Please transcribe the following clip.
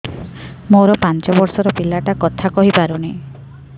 ମୋର ପାଞ୍ଚ ଵର୍ଷ ର ପିଲା ଟା କଥା କହି ପାରୁନି